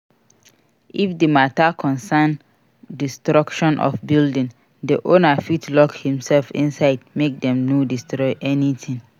If di matter concern destruction of building, the owner fit lock himself inside make them no destroy anything